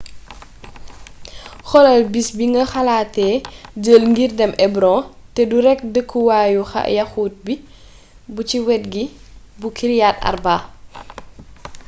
xoolal bis bi nga xalaate jël ngir dem hebron te du rekk dëkkuwaayu yaxuut bu ci wet gi bu kiryat arba